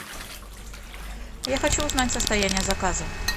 я хочу узнать состояние заказа